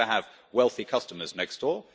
We want to have wealthy customers next door.